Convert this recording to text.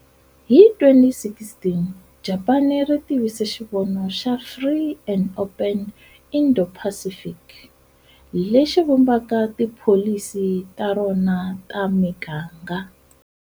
Hi 2016, Japani ri tivise xivono xa Free and Open Indo-Pacific, lexi vumbaka tipholisi ta rona ta miganga.